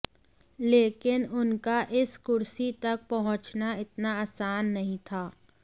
लेकिन उनका इस कुर्सी तक पहुंचना इतना आसान नहीं था